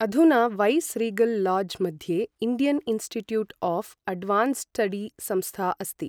अधुना viceregal lodge मध्ये Indian institute of advanced study संस्था अस्ति।